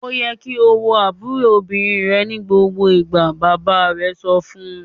"Ó yẹ kí o wo àbúrò obìnrin rẹ ní gbogbo ìgbà!" Bàbá rẹ̀ sọ fún un.